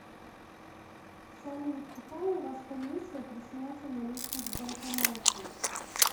салют какая у вас комиссия при снятии наличных в банкомате